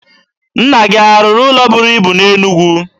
Nna gị a rụrụ ụlọ buru ibu na Enugwu?